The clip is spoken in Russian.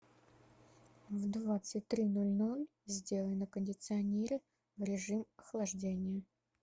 в двадцать три ноль ноль сделай на кондиционере в режим охлаждения